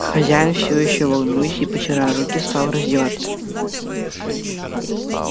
хозяин всё ещё волнуясь и потирая руки стал раздеваться